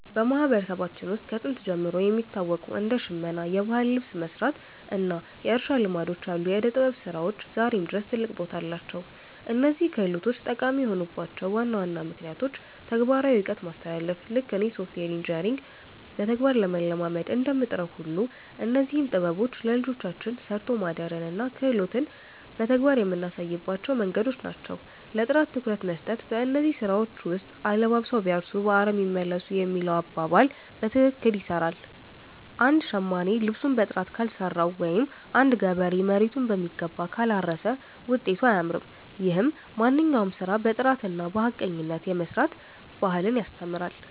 በማህበረሰባችን ውስጥ ከጥንት ጀምሮ የሚታወቁ እንደ ሽመና (የባህል ልብስ መስራት) እና የእርሻ ልማዶች ያሉ የዕደ-ጥበብ ስራዎች ዛሬም ድረስ ትልቅ ቦታ አላቸው። እነዚህ ክህሎቶች ጠቃሚ የሆኑባቸው ዋና ዋና ምክንያቶች ተግባራዊ እውቀት ማስተላለፍ፦ ልክ እኔ ሶፍትዌር ኢንጂነሪንግን በተግባር ለመለማመድ እንደምጥረው ሁሉ፣ እነዚህም ጥበቦች ለልጆቻችን 'ሰርቶ ማደርን' እና 'ክህሎትን' በተግባር የምናሳይባቸው መንገዶች ናቸው። ለጥራት ትኩረት መስጠት፦ በእነዚህ ስራዎች ውስጥ 'አለባብሰው ቢያርሱ በአረም ይመለሱ' የሚለው አባባል በትክክል ይሰራል። አንድ ሸማኔ ልብሱን በጥራት ካልሰራው ወይም አንድ ገበሬ መሬቱን በሚገባ ካላረሰ ውጤቱ አያምርም። ይህም ማንኛውንም ስራ በጥራትና በሐቀኝነት የመስራት ባህልን ያስተምራል።